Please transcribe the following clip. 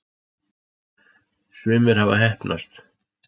sumir hafa heppnast